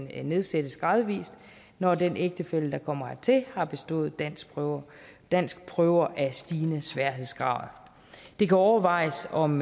nedsættes gradvist når den ægtefælle der kommer hertil har bestået danskprøver danskprøver af stigende sværhedsgrad det kan overvejes om